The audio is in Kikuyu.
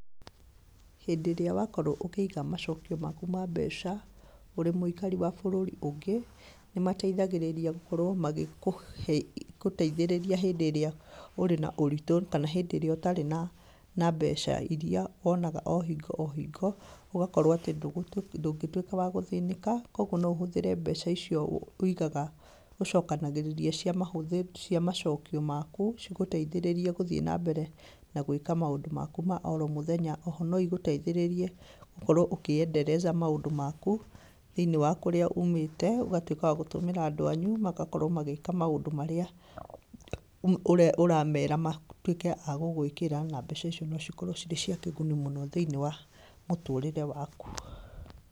Hĩndĩ ĩrĩa wakorwo úkĩiga macokio maku ma mbeca, ũrĩ mũikari wa bũrũri ũngĩ, nĩmateithagĩrĩria gũkorwo magĩkũhe, gũteithĩrĩria hĩndĩ írĩa ũrĩ na ũritũ kana hĩndĩ ĩrĩa ũtaĩ na, na mbeca iria wonaga o hingo o hingo, ũgakorwo atĩ ndũgũ ndũngĩtwĩka wa gũthĩnĩka, koguo noũhũthĩre mbeca icio wũigaga, ũcokanagĩrĩria cia mahũthĩ cia macokio maku, cigũteithĩrĩrie gũthiĩ nambere na gwĩka maũndũ maku ma oro mũthenya, oho noigũteithĩrĩrie gũkorwo ũkĩ endereza maũndũ maku thĩ-inĩ wa kũrĩa umĩte, ũgatwĩka wa gũtũmĩra andũ anyu magakorwo makĩka maúndũ marĩa, ũrĩa ũramera matwĩke a gũgũkwĩra na mbeca icio nocikorwo ciĩ cia kĩguni mũno thĩ-inĩ wa mũtũrĩre waku.